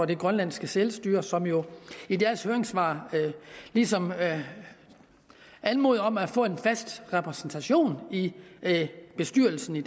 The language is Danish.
det grønlandske selvstyre som jo i deres høringssvar ligesom anmoder om at få en fast repræsentation i bestyrelsen i